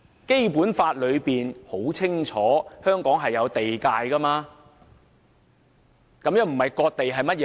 《基本法》清楚訂明香港的地界，這不是割地是甚麼？